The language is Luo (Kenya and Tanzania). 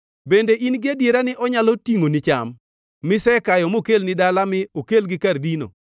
Bende in-gi adiera ni onyalo tingʼoni cham misekayo mokelni dala mi okelgi kar dino?